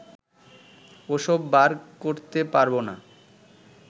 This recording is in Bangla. ওসব বার করতে পারবো না